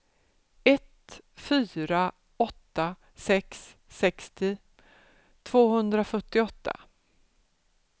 ett fyra åtta sex sextio tvåhundrafyrtioåtta